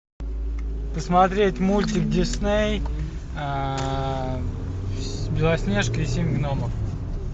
посмотреть мультик дисней белоснежка и семь гномов